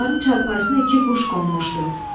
Onların çarpayısına iki quş qonmuşdu.